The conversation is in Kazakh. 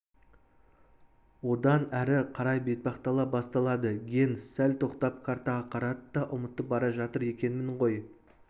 одан әрі қарай бетпақдала басталады генс сәл тоқтап картаға қарады да ұмытып бара жатыр екенмін ғой